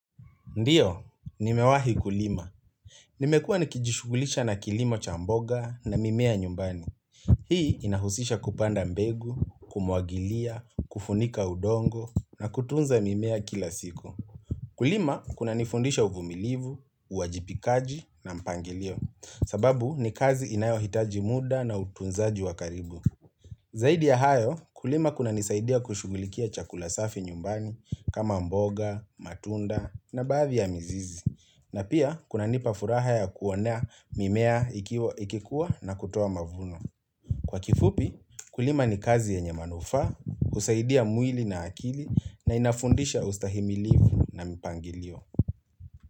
Ndiyo, nimewahi kulima. Nimekua nikijishugulisha na kilimo cha mboga na mimea nyumbani. Hii inahusisha kupanda mbegu, kumwagilia, kufunika udongo na kutunza mimea kila siku. Kulima kuna nifundisha uvumilivu, uwajibikaji na mpangilio. Sababu ni kazi inayohitaji muda na utunzaji wakaribu. Zaidi ya hayo kulima kuna nisaidia kushugulikia chakula safi nyumbani kama mboga, matunda na baadhi ya mizizi na pia kuna nipafuraha ya kuonea mimea ikikuwa na kutoa mavuno. Kwa kifupi kulima ni kazi yenye manufa, husaidia mwili na akili na inafundisha ustahimilivu na mipangilio.